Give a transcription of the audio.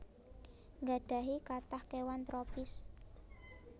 nggadhahi kathah kéwan tropis